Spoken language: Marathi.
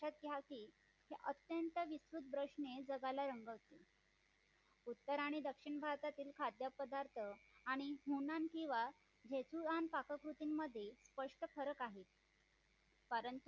कारण यासी अत्यंत उत्कर्ष जगाला रंगवते, उत्तर आणि दक्षिण भारतातील खाद्यपदार्थ आणि हो न किंवा देसूळ आणि पाककृती मधील स्पष्ट खरं आहे